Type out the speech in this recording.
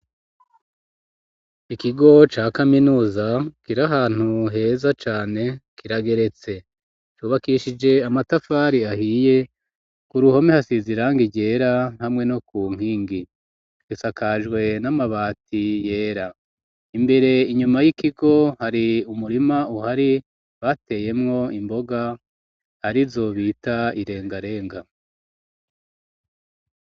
Ikigo ca kaminuza kiri ahantu heza cane kirageretse ,cubakishije amatafari ahiye ku ruhome hasiz'iranga ryera hamwe no ku nkingi, risakajwe n'amabati yera, imbere inyuma y'ikigo hari umurima uhari bateyemwo imboga hari zobita irengarenga.